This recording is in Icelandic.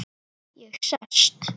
Ég sest.